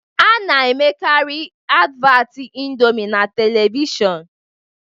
A na-emekarị advat ịndomi na televishọnu